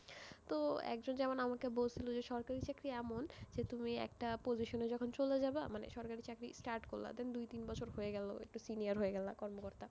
তো একজন যেমন আমাকে বলছিল যে সরকারি চাকরি এমন, যে তুমি একটা position এ যখন চলে যাবা, মানে সরকারি চাকরি start করলা, then দুই তিন বছর হয়ে গেল, একটু senior হয়ে গেলা, কর্মকর্তা,